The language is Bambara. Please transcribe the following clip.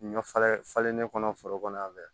Ɲɔ falen falenlen kɔnɔ foro kɔnɔ yan fɛ